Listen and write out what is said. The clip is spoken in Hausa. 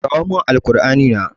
Kawo min Alkur'ani na.